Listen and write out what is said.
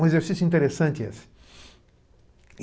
Um exercício interessante esse.